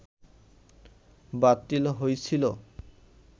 বাতিল হইছিল